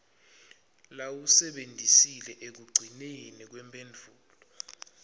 lowasebentisile ekugcineni kwemphendvulo